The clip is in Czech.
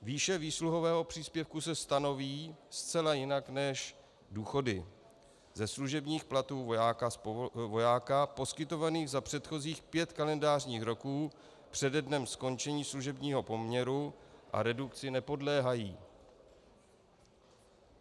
Výše výsluhového příspěvku se stanoví zcela jinak než důchody - ze služebních platů vojáka poskytovaných za předchozích pět kalendářních roků přede dnem skončení služebního poměru - a redukci nepodléhají.